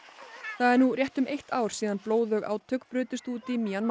það er nú rétt um eitt ár síðan blóðug átök brutust út í Mjanmar